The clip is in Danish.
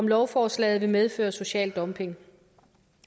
lovforslaget vil medføre social dumping